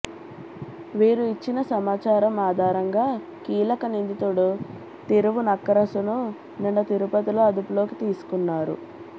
వీరు ఇచ్చిన సమాచారం ఆధారంగా కీలక నిందితుడు తిరువునక్కరసును నిన్న తిరుపతిలో అదుపులోకి తీసుకున్నారు